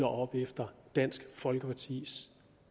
op efter dansk folkepartis